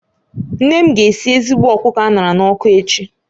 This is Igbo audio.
Nne m ga-esi ezigbo ọkụkọ a ṅara n'ọkụ echi